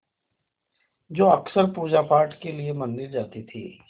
जो अक्सर पूजापाठ के लिए मंदिर जाती थीं